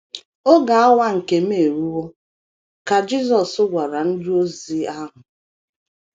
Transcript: “ Oge awa nke m eruwo, ” ka Jisọs gwara ndị ozi ahụ.